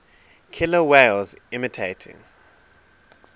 killer whales imitating